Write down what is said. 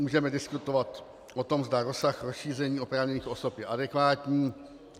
Můžeme diskutovat o tom, zda rozsah rozšíření oprávněných osob je adekvátní.